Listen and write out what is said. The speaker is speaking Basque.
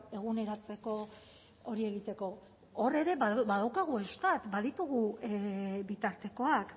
eguneratzeko hori egiteko hor ere badaukagu eustat baditugu bitartekoak